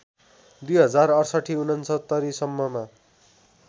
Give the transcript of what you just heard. २०६८ ६९ सम्ममा